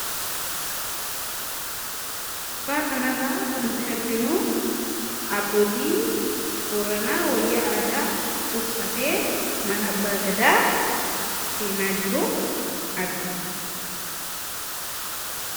Suuraa kana irraa kan nuti arginu abbootii Booranaa wayya aadaa uffatee mana abbaa Gadaa seenaa jiru argina.